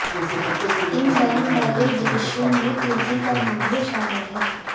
इन ban वाले देशो में तुर्की का नाम भी शामिल है